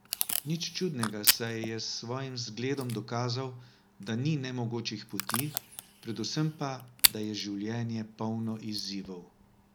Nič čudnega, saj je s svojim zgledom dokazal, da ni nemogočih poti, predvsem pa, da je življenje polno izzivov.